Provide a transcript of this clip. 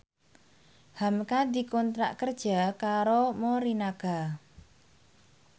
hamka dikontrak kerja karo Morinaga